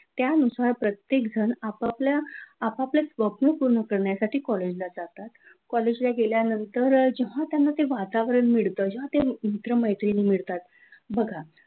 त्यानुसार प्रत्येक जण आपापल्या आपापले स्वप्न पूर्ण करण्यासाठी कॉलेजला जातात, कॉलेजला गेले गेल्यानंतर अ जेव्हा ते वातावरण मिळतात जेव्हा ते मित्र मैत्रिणी मिळतात बघा,